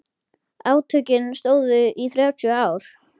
Átökin stóðu í þrjátíu ár.